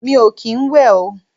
Mi ò kín ń wẹ̀ o.